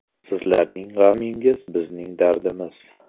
Sizlarning g‘amingiz bizning dardimiz.